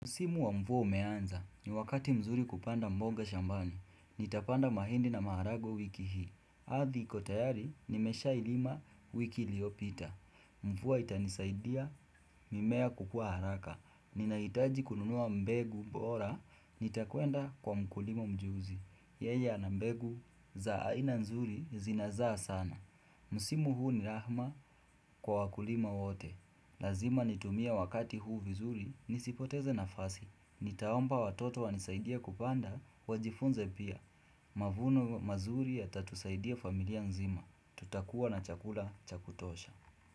Msimu wa mvua umeanza, ni wakati mzuri kupanda mboga shambani. Nitapanda mahindi na maharagwe wiki hii. Ardhi iko tayari, nimeshailima wiki liyopita. Mvua itanisaidia, mimea kukua haraka. Ninaitaji kununua mbegu bora, nitakwenda kwa mkulima mjuzi. Yeye ana mbegu za aina nzuri zinazaa sana. Msimu huu ni rahma kwa wakulima wote. Lazima nitumie wakati huu vizuri, nisipoteze nafasi. Nitaomba watoto wanisaidie kupanda, wajifunze pia. Mavuno mazuri yatatusaidia familia nzima. Tutakua na chakula chakutosha.